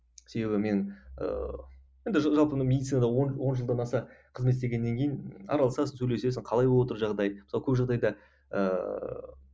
себебі мен ыыы енді жалпы медицинада он он жылдан аса қызмет істегеннен кейін араласасың сөйлесесің қалай болып жатыр жағдай мысалы көп жағдайда ыыы